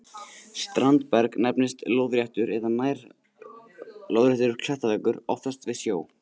Standberg nefnist lóðréttur eða nær-lóðréttur klettaveggur, oftast við sjó.